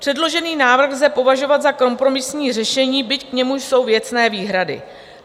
Předložený návrh lze považovat za kompromisní řešení, byť k němu jsou věcné výhrady.